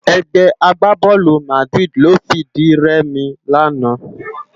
Ègbè àgbábòlú Màdiridi ló fi di rèmi làná